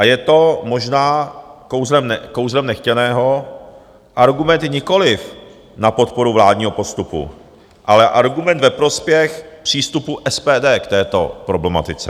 A je to možná kouzlem nechtěného argument nikoliv na podporu vládního postupu, ale argument ve prospěch přístupu SPD k této problematice.